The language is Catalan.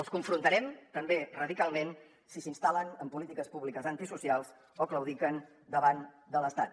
els confrontarem també radicalment si s’instal·len en polítiques públiques antisocials o claudiquen davant de l’estat